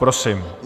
Prosím.